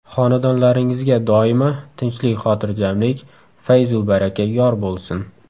Xonadonlaringizga doimo tinchlik-xotirjamlik, fayzu baraka yor bo‘lsin!